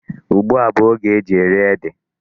Ugbu a bụ oge e ji eri ede.